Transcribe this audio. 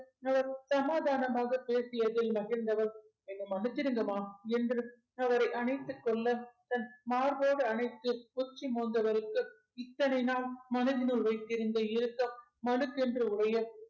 சமாதானமாக பேசியதில் மகிழ்ந்தவர் என்ன மன்னிச்சிடுங்கம்மா என்று அவரை அணைத்துக் கொள்ள தன் மார்போடு அணைத்து உச்சி மோந்தவருக்கு இத்தனை நாள் மனதினுள் வைத்திருந்த இறுக்கம் மனுக்கென்று உடைய